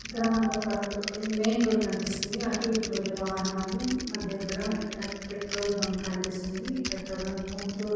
ఇక్కడ మనకి ఒక మెయిన్ రోడ్ కనిపిస్తుంది .అటు ఇటు వేళ్ళు వాహనాలు మనకు దగ్గర ఇక్కడ పెట్రోల్ బంక్ కనిపిస్తుంది. ఈ పెట్రోల్ బంక్ ముత్తూట్--